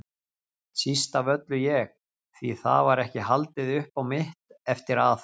Síst af öllu ég, því það var ekki haldið upp á mitt eftir að